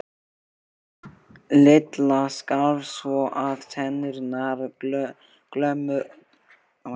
Lilla skalf svo að tennurnar glömruðu uppi í henni.